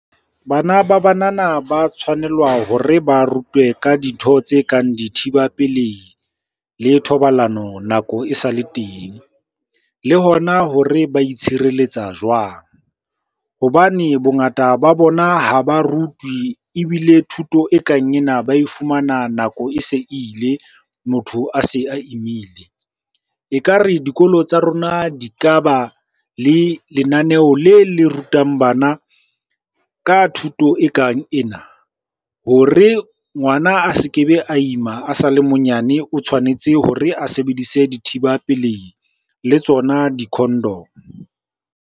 Bana ba banana ba tshwanelwa hore ba rutwe ka dintho tse kang dithiba pelehi le thobalano nako e sale teng. Le hona hore ba itshireletsa jwang? Hobane bongata ba bona ha ba rutwe ebile thuto e kang ena ba e fumana nako e se ile, motho a se a imile. Ekare dikolo tsa rona di ka ba le lenaneo le le rutang bana ka thuto e kang ena. Hore ngwana a se ke be a ima a sale monyane, o tshwanetse hore a sebedise dithiba pelehi le tsona di-condom.